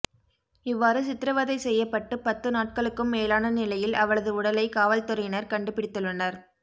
இவ்வாறு சித்திரவதை செய்யப்பட்டு பத்து நாட்களுக்கும் மேலான நிலையில் அவளது உடலை காவல்துறையினர் கண்டுபிடித்துள்ளனர்